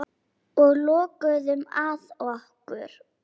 Og lokuðum að okkur.